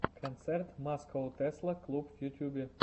концерт маскоу тесла клуб в ютубе